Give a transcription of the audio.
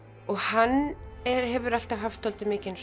og hann hefur alltaf haft mikinn